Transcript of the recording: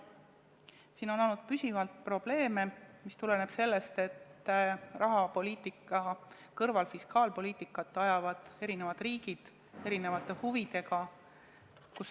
Püsivalt on olnud probleeme, mis tuleneb sellest, et rahapoliitika kõrval fiskaalpoliitikat ajavad eri riigid erinevate huvidega.